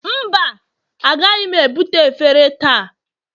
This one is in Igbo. mba, agaghị m ebute efere taa